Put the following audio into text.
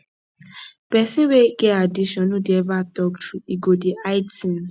pesin wey get addiction no dey ever talk true e go dey hide things